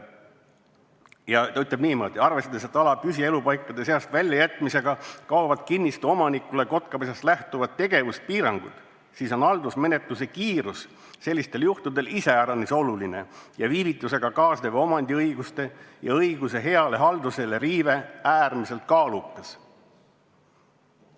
Ta ta ütleb niimoodi: "Arvestades, et ala püsipaikade seast väljajätmisega kaovad kinnistu omanikule kotkapesast lähtuvad tegevuspiirangud, siis on haldusmenetluse kiirus sellistel juhtudel iseäranis oluline ja viivitusega kaasnev omandiõiguste ja õiguse heale haldusele riive äärmiselt kaalukas.